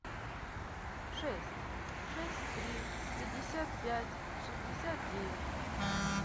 шесть шесть три пятьдесят пять шестьдесят девять